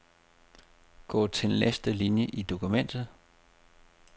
Gå til næste linie i dokumentet.